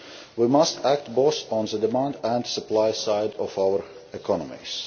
We must act both on the demand and supply side of our economies.